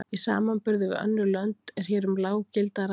Í samanburði við önnur lönd er hér um lág gildi að ræða.